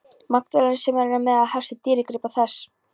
Magdalenu sem enn er meðal helstu dýrgripa þess.